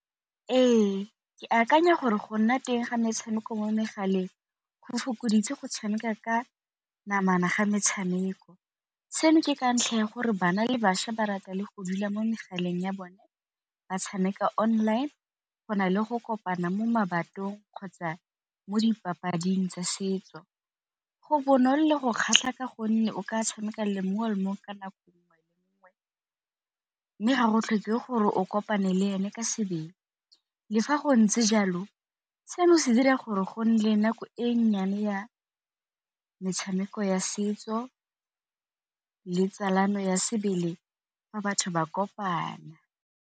Ee, ke akanya gore go nna teng ga metshameko mo megaleng go fokoditse go tshameka ka namana ga metshameko, seno ke ka ntlha ya gore bana le bašwa ba rata le go dula mo megaleng ya bone ba tshameka online go na le go kopana mo kgotsa mo dipapading tsa setso. Go bonolo go kgatlha ka gonne o ka tshameka le mongwe le mongwe ka nako , mme ga go tlhokege gore o kopane le ene ka sebele. Le fa go ntse jalo seno se dira gore go nne le nako e nnyane ya metshameko ya setso le botsalano ya sebele fa batho ba kopana.